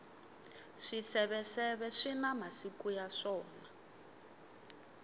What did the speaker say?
swiseveseve swina masiku ya swona